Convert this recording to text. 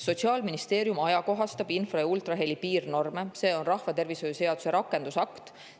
Sotsiaalministeerium ajakohastab infra- ja ultraheli piirnorme, need on rahvatervishoiu seaduse rakendusaktis.